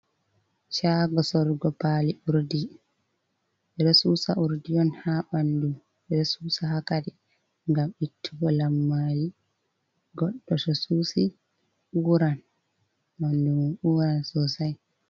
Shago sorugo pali urdi, ɓe ɗo susa urdi on ha ɓandu, ɓe ɗo susa ha kare ngam ittugo lammari, goɗɗo to susi uran ɓandu mun uran sosai.